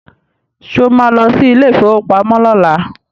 Sọ ma lọ sí ilé ìfowópamọ́ lọ́la?